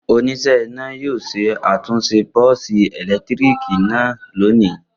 Oníṣẹ́ iná yóò ṣe àtúnṣe bọ́ọ́sì ẹ̀lẹ́tíríkì náà lónìí.